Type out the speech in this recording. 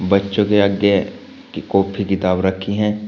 बच्चों के आगे की कॉपी किताब रखी हैं।